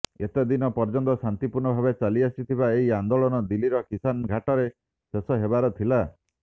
ଏେତଦିନ ପର୍ଯ୍ୟନ୍ତ ଶାନ୍ତିପୂର୍ଣ୍ଣ ଭାବେ ଚାଲିଆସିଥିବା ଏହି ଆନ୍ଦୋଳନ ଦିଲ୍ଲୀର କିଷାନ ଘାଟରେ ଶେଷ ହେବାର ଥିଲା